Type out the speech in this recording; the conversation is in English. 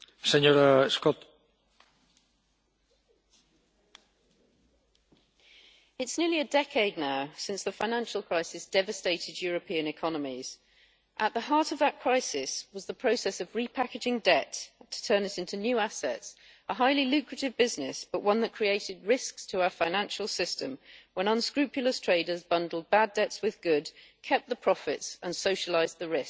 Mr President, it is now nearly a decade since the financial crisis devastated European economies. At the heart of that crisis was the process of repackaging debt to turn it into new assets, a highly lucrative business, but one that created risks to our financial system when unscrupulous traders bundled bad debts with good, kept the profits and socialised the risks.